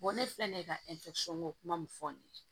ne filɛ nin ye ka kuma min fɔ nin ye